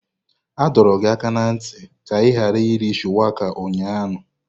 A dọrọ gị aka ná ntị ka ị ghara iri Shuwaka ụnyahụ.